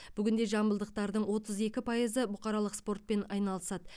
бүгінде жамбылдықтардың отыз екі пайызы бұқаралық спортпен айналысады